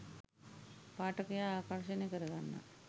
පාඨකයා ආකර්ෂණය කර ගන්නා